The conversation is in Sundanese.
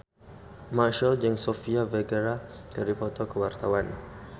Marchell jeung Sofia Vergara keur dipoto ku wartawan